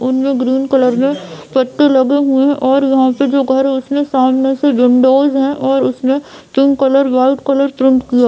और उनमे green colour में पट्टी लगी हुई है और वहाँ पे जो घर है उसमें सामने से विंडोज है और उसमें pink colour white colour paint किया--